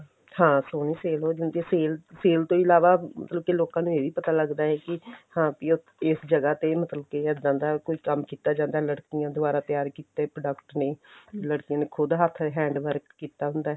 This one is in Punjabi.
ਹਾਂ ਸੋਹਣੀ sale ਹੋ ਜਾਂਦੀ ਆ sale ਤੋਂ ਇਲਾਵਾ ਮਤਲਬ ਕੀ ਲੋਕਾਂ ਨੂੰ ਇਹ ਵੀ ਪਤਾ ਲੱਗਦਾ ਵੀ ਹਾਂ ਬੀ ਇਸ ਜਗ੍ਹਾ ਤੇ ਮਤਲਬ ਕੇ ਇੱਦਾਂ ਦਾ ਕੋਈ ਕੰਮ ਕੀਤਾ ਜਾਂਦਾ ਲੜਕੀਆਂ ਦੁਆਰਾ ਤਿਆਰ ਕੀਤੇ product ਨੇ ਲੜਕੀਆਂ ਨੇ ਖੁਦ ਹੱਥ hand work ਕੀਤਾ ਹੁੰਦਾ